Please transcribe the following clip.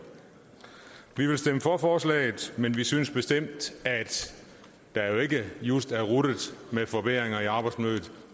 vi vil stemme for forslaget men synes bestemt at der ikke just er ruttet med forbedringer i arbejdsmiljøet